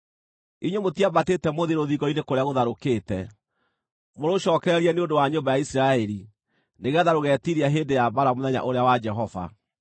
Inyuĩ mũtiambatĩte mũthiĩ rũthingo-inĩ kũrĩa gũtharũkĩte, mũrũcookererie nĩ ũndũ wa nyũmba ya Isiraeli nĩgeetha rũgetiiria hĩndĩ ya mbaara mũthenya ũrĩa wa Jehova.